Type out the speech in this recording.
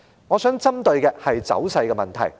我想聚焦於走勢方面。